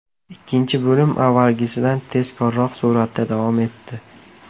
Ikkinchi bo‘lim avvalgisidan tezkorroq suratda davom etdi.